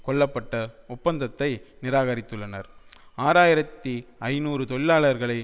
கொள்ளப்பட்ட ஒப்பந்தத்தை நிராகரித்துள்ளனர் ஆறு ஆயிரத்தி ஐநூறு தொழிலாளர்களை